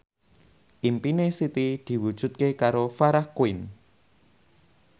impine Siti diwujudke karo Farah Quinn